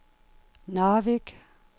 Narvik